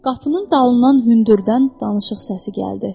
Qapının dalından hündürdən danışıq səsi gəldi.